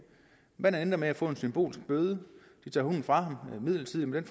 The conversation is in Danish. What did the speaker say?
men han endte med at få en symbolsk bøde de tog hunden fra ham midlertidigt men